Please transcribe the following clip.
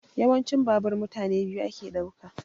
Yawanci babur mutane biyu yake ɗauka